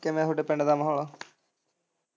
ਕੀਮੇ ਤੁਹਾਡੇ ਪਿੰਡ ਦਾ ਮਾਹੋਲ?